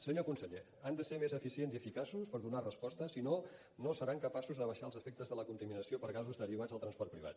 senyor conseller han de ser més eficients i eficaços per donar respostes si no no seran capaços d’abaixar els efectes de la contaminació per gasos derivats del transport privat